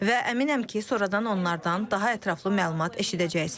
Və əminəm ki, sonradan onlardan daha ətraflı məlumat eşidəcəksiniz.